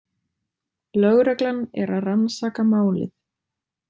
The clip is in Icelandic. Lögreglan er að rannsaka málið